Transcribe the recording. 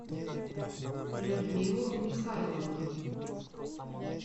людмилу михайловну